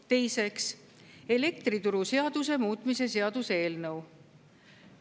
Teiseks, elektrituruseaduse muutmise seaduse eelnõu.